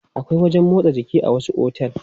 Akwai wajen motsa jiki a wasu otel.